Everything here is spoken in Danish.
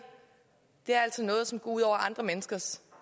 er altså noget som går ud over andre menneskers